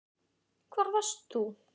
Hvar varst þú???